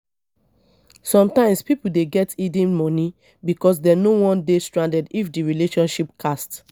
sometimes pipo dey get hidden money because dem no wan dey stranded if di relationship cast